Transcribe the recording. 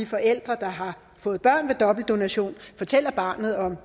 forældre der har fået børn ved dobbeltdonation fortæller barnet om